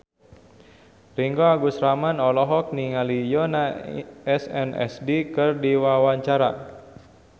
Ringgo Agus Rahman olohok ningali Yoona SNSD keur diwawancara